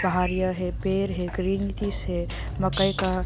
बाहर यह है पेड़ है ग्रीन से मकई का--